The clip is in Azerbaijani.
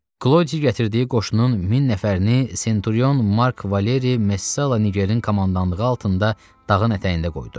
Klodi gətirdiyi qoşunun 1000 nəfərini Senturyon Mark Valeri Messala Nigerin komandanlığı altında dağın ətəyində qoydu.